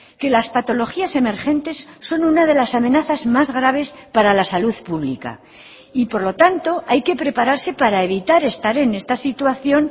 que las patologías emergentes son una de las amenazas más graves para la salud pública y por lo tanto hay que prepararse para evitar estar en esta situación